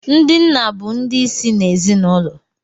Ndi nna bụ ndị ịsị n' ezinaụlọ